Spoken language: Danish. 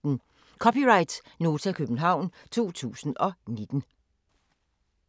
(c) Nota, København 2019